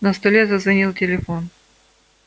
на столе зазвонил телефон